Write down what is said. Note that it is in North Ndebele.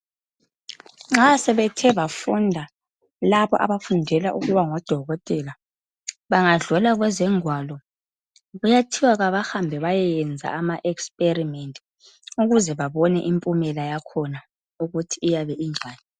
Nxa sebethe bafunda laba abafundela ukuba ngodokotela. Bangadlula kuzingwalo. Kuyathiwa kabahambe bayekwenza ama experiment. Ukuze babone, impumela yakhona ukuthi iyabe injani.